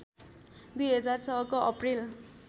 २००६ को अप्रिल